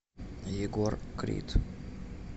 егор крид